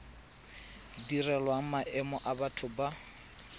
direlwang maemo a batho ba